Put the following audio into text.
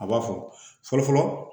A b'a fɔ fɔlɔ fɔlɔ